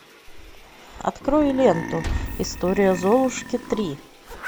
открой ленту история золушки три